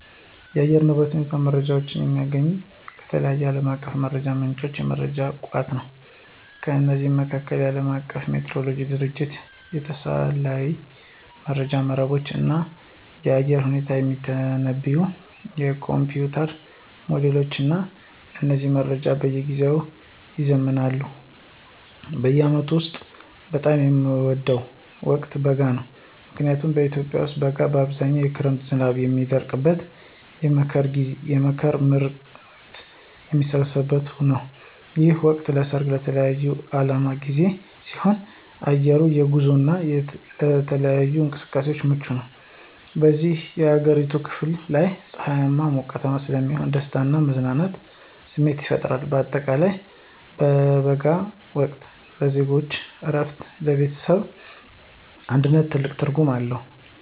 የአየር ንብረት ሁኔታ መረጃዎችን የማገኘው ከተለያዩ ዓለም አቀፍ የመረጃ ምንጮችና የመረጃ ቋቶች ነው። ከነዚህም መካከል፦ የዓለም አቀፉ ሜትሮሎጂ ድርጅቶች፣ የሳተላይት መረጃ መረቦች፣ እና የአየር ሁኔታን የሚተነብዩ የኮምፒዩተር ሞዴሎች ናቸው። እነዚህ መረጃዎች በየጊዜው ይዘምናሉ። በዓመቱ ውስጥ በጣም የምወደው ወቅት በጋ ነው። ምክንያቱም በኢትዮጵያ ውስጥ በጋ በአብዛኛው የክረምት ዝናብ የሚያበቃበትና የመኸር ምርት የሚሰበሰብበት ነው። ይህ ወቅት ለሠርግና ለተለያዩ በዓላት ጊዜ ሲሆን፣ አየሩም ለጉዞና ለተለያዩ እንቅስቃሴዎች ምቹ ይሆናል። በብዙ የአገሪቱ ክፍሎች ላይ ፀሐያማና ሞቃታማ ስለሚሆን የደስታና የመዝናናት ስሜት ይፈጥራል። በአጠቃላይ የበጋው ወቅት ለዜጎች እረፍትና ለቤተሰብ አንድነት ትልቅ ትርጉም አለው።